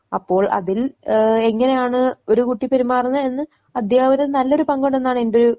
അപ്പോൾ അതിൽ ഏഹ് എങ്ങനെയാണ് ഒരു കുട്ടി പെരുമാറുന്നെ എന്ന് അധ്യാപകരിൽ നല്ലൊരു പങ്കുണ്ടെന്നാണ് എന്റൊരു